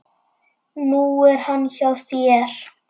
Nú er hann hjá þér.